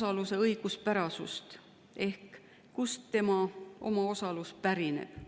selle õiguspärasust ehk seda, kust tema omaosalus pärineb.